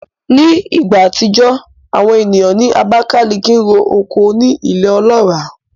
Ní ìgbà àtijọ́, àwọn ènìyàn ní Abakalaki ro oko ní ilẹ̀ ọlọ́ràá